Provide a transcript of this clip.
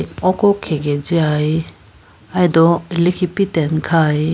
oko khege jiyay alido ilikhi pitene khay.